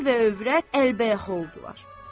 Ər və övrət əlbəyaxa oldular.